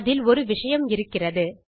அதில் ஒரு விஷயம் இருக்கிறது